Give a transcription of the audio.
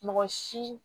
Mɔgɔ si